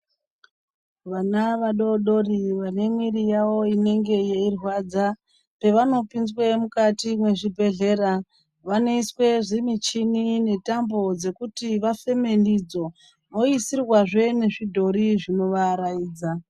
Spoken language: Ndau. Vana vadodori vane mwiri yawo inenge yeirwadza pavanopinzwe mukati mwezvibhedhlera vanoiswe zvimuchini netambo dzekuti vafeme ndidzo oisirwazve nezvidhori zvinovaaraidza.